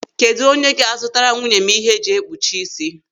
Kedụ onye ga-azụtara nwunye m ihe eji ekpuchi isi.